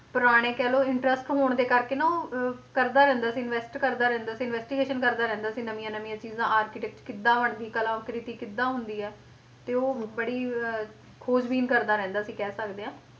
ਪੁਰਾਣੇ ਕਹਿ interest ਹੋਣ ਦੇ ਕਰਕੇ ਨਾ ਉਹ ਅਹ ਕਰਦਾ ਰਹਿੰਦਾ ਸੀ invest ਕਰਦਾ ਰਹਿੰਦਾ ਸੀ investigation ਕਰਦਾ ਰਹਿੰਦਾ ਸੀ ਨਵੀਆਂ ਨਵੀਆਂ ਚੀਜ਼ਾਂ architect ਕਿੱਦਾਂ ਬਣਦੀ ਕਲਾ ਕ੍ਰਿਤੀ ਕਿੱਦਾਂ ਹੁੰਦਾ ਹੈ, ਤੇ ਉਹ ਬੜੀ ਅਹ ਖੋਜ ਬੀਨ ਕਰਦਾ ਰਹਿੰਦਾ ਸੀ ਕਹਿ ਸਕਦੇ ਹਾਂ,